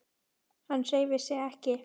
Hann hreyfir sig ekki.